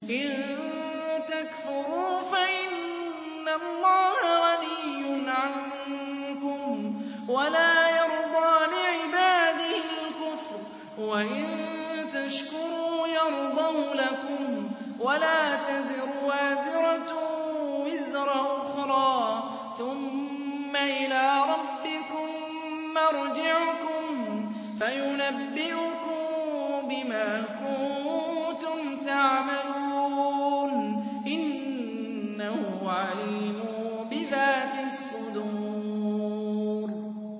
إِن تَكْفُرُوا فَإِنَّ اللَّهَ غَنِيٌّ عَنكُمْ ۖ وَلَا يَرْضَىٰ لِعِبَادِهِ الْكُفْرَ ۖ وَإِن تَشْكُرُوا يَرْضَهُ لَكُمْ ۗ وَلَا تَزِرُ وَازِرَةٌ وِزْرَ أُخْرَىٰ ۗ ثُمَّ إِلَىٰ رَبِّكُم مَّرْجِعُكُمْ فَيُنَبِّئُكُم بِمَا كُنتُمْ تَعْمَلُونَ ۚ إِنَّهُ عَلِيمٌ بِذَاتِ الصُّدُورِ